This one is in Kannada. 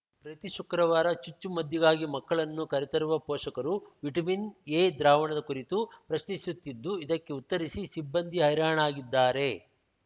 ಪ್ರತಿ ಶುಕ್ರವಾರ ಚುಚ್ಚುಮದ್ದಿಗಾಗಿ ಮಕ್ಕಳನ್ನು ಕರೆ ತರುವ ಪೋಷಕರು ವಿಟಮಿನ್‌ ಎ ದ್ರಾವಣದ ಕುರಿತು ಪ್ರಶ್ನಿಸುತ್ತಿದ್ದು ಇದಕ್ಕೆ ಉತ್ತರಿಸಿ ಸಿಬ್ಬಂದಿ ಹೈರಣಾಗಿದ್ದಾರೆ